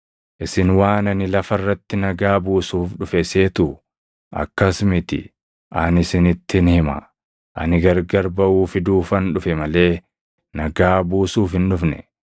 Isin waan ani lafa irratti nagaa buusuuf dhufe seetuu? Akkas miti; ani isinittin hima; ani gargar baʼuu fiduufan dhufe malee nagaa buusuuf hin dhufne.